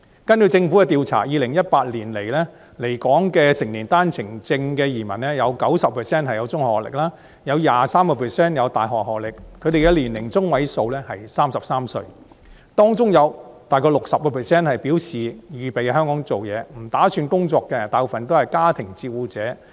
根據政府的調查 ，2018 年來港的成年單程證移民，有 90% 具中學學歷，有 23% 具大學學歷，他們的年齡中位數是33歲，當中有大約 60% 表示預備在香港工作，不打算工作的大部分都是家庭照顧者。